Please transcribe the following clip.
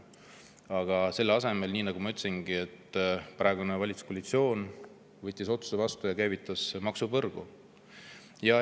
Aga selle asemel, nii nagu ma ütlesingi, võttis praegune valitsuskoalitsioon vastu otsuse ja käivitas maksupõrgu.